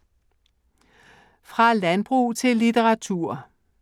Fra landbrug til litteratur